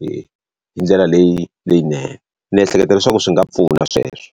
hi hi ndlela leyinene. Ni ehleketa leswaku swi nga pfuna sweswo.